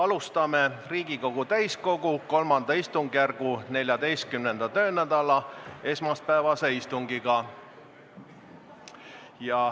Alustame Riigikogu täiskogu III istungjärgu 14. töönädala esmaspäevast istungit.